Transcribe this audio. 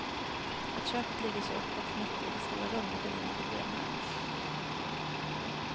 Att köket ligger så öppet mitt i det stora rummet är inget problem här.